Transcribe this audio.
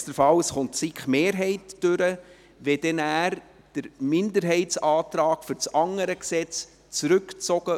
Also: Falls die SiK-Mehrheit obsiegt, wäre es am einfachsten, der Minderheitsantrag zum anderen Gesetz würde nachher zurückgezogen.